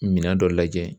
Minɛn dɔ lajɛ